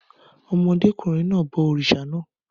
Ọmọdékùnrin náà bọ òrìṣà náà